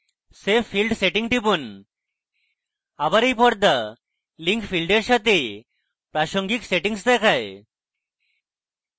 save field setting টিপুন আবার এই পর্দা link field এর জন্য প্রাসঙ্গিক সেটিংস দেয়